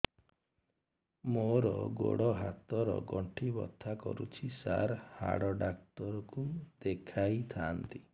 ମୋର ଗୋଡ ହାତ ର ଗଣ୍ଠି ବଥା କରୁଛି ସାର ହାଡ଼ ଡାକ୍ତର ଙ୍କୁ ଦେଖାଇ ଥାନ୍ତି